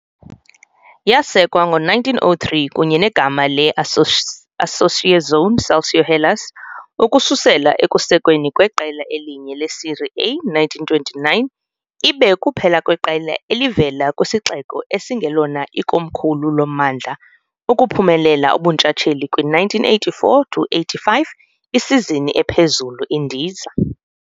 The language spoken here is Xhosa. Yasekwa ngo-1903 kunye negama le- Associazione Calcio Hellas, ukususela ekusekweni kweqela elinye le-Serie A, 1929, ibe kuphela kweqela elivela kwisixeko esingelona ikomkhulu lommandla ukuphumelela ubuntshatsheli kwi-1984 to 85 isizini ephezulu-indiza.